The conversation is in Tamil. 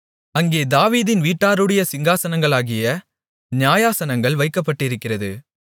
அங்கே தாவீதின் வீட்டாருடைய சிங்காசனங்களாகிய நியாயாசனங்கள் வைக்கப்பட்டிருக்கிறது